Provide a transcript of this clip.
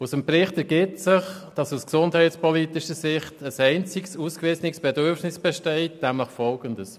Aus dem Bericht ergibt sich, dass aus gesundheitspolitischer Sicht ein einziges ausgewiesenes Bedürfnis besteht, nämlich Folgendes: